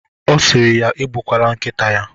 Ọ siri ya egbukwala nkịta ya.